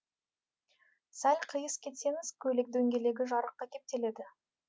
сәл қиыс кетсеңіз көлік дөңгелегі жарыққа кептеледі